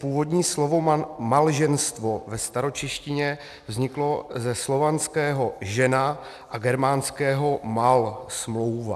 Původní slovo "malženstvo" ve staročeštině vzniklo ze slovanského žena a germánského mal - smlouva.